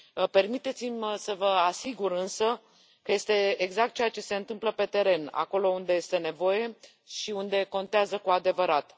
Permiteți mi să vă asigur însă că este exact ceea ce se întâmplă pe teren, acolo unde este nevoie și unde contează cu adevărat.